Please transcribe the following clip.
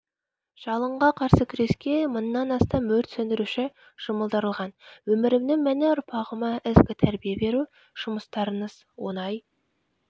жалынға қарсы күреске мыңнан астам өрт сөндіруші жұмылдырылған өмірімнің мәні ұрпағыма ізгі тәрбие беру жұмыстарыңыз оңай